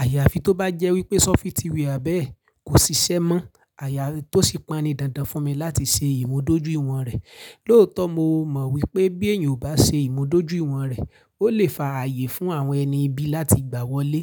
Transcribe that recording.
Àyàfi tó bá jẹ́ wípé sófitíwà bẹ́ẹ̀ kò ṣiṣẹ́ mọ́. Àyà tó sì pani dáadáa fún mi láti ṣe ìmúdójúìwọ̀n rẹ̀. Lóòótọ́ mo mọ̀ wípé bí èèyàn ò bá ṣe ìmúdójúìwọ̀n rẹ̀, ó lè fa ààyè fún àwọn ẹni ibi láti gbà wọlé.